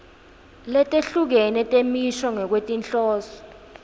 letehlukene temisho ngekwetinhloso